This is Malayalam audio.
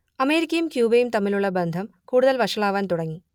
അമേരിക്കയും ക്യൂബയും തമ്മിലുള്ള ബന്ധം കൂടുതൽ വഷളാവാൻ തുടങ്ങി